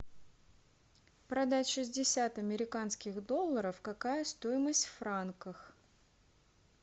продать шестьдесят американских долларов какая стоимость в франках